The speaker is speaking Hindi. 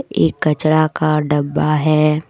एक कचड़ा का डब्बा है।